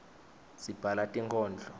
sibhala tinkhondlo